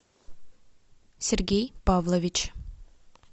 сергей павлович